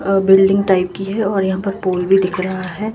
अ building type की है और यहां पर पुल भी दिख रहा है।